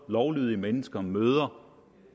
lovlydige mennesker møder